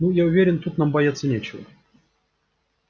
ну я уверен тут нам бояться нечего